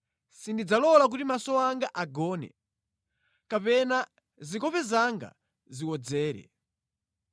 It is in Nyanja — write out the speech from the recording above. sindidzalola kuti maso anga agone, kapena zikope zanga ziwodzere,